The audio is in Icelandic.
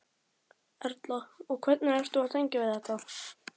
Erla: Og hvernig ertu að tengja við þetta?